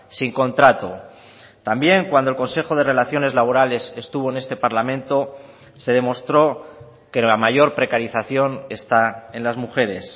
sin contrato también cuando el consejo de relaciones laborales estuvo en este parlamento se demostró que la mayor precarización está en las mujeres